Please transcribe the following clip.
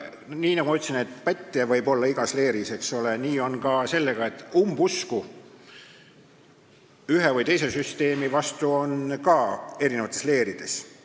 Nagu ma ütlesin, pätte võib olla igas leeris, nii ka umbusku ühe või teise süsteemi vastu on eri leerides.